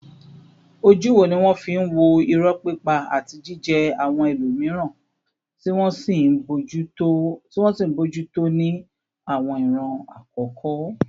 Ojú wo ni wọ́n fi ń wo irọ́ pípa àti jíjẹ́ àwọn ẹlòmíràn, tí wọ́n sì ń bójú tó ní àwọn ìran àkọ́kọ́?